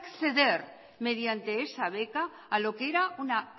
acceder mediante esa beca a lo que era una